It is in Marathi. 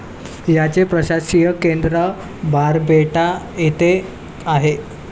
ह्याचे प्रशासकीय केंद्र बारपेटा येथे आहे.